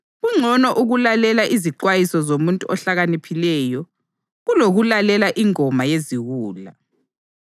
Kungcono ukulalela izixwayiso zomuntu ohlakaniphileyo kulokulalela ingoma yeziwula.